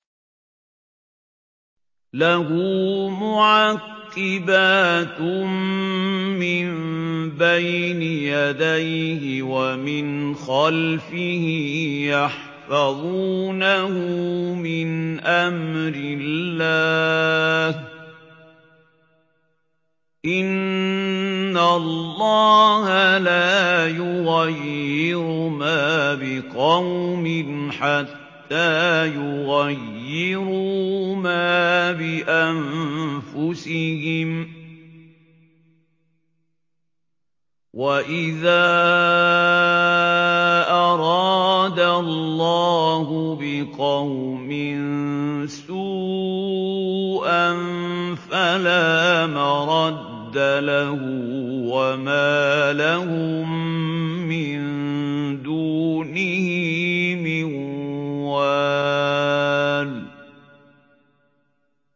لَهُ مُعَقِّبَاتٌ مِّن بَيْنِ يَدَيْهِ وَمِنْ خَلْفِهِ يَحْفَظُونَهُ مِنْ أَمْرِ اللَّهِ ۗ إِنَّ اللَّهَ لَا يُغَيِّرُ مَا بِقَوْمٍ حَتَّىٰ يُغَيِّرُوا مَا بِأَنفُسِهِمْ ۗ وَإِذَا أَرَادَ اللَّهُ بِقَوْمٍ سُوءًا فَلَا مَرَدَّ لَهُ ۚ وَمَا لَهُم مِّن دُونِهِ مِن وَالٍ